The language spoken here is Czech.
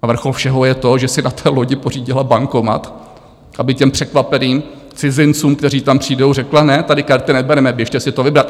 A vrchol všeho je to, že si na té lodi pořídila bankomat, aby těm překvapeným cizincům, kteří tam přijdou, řekla ne, tady karty nebereme, běžte si to vybrat.